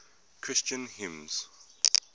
christian hymns